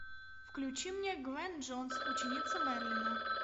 включи мне гвен джонс ученица мерлина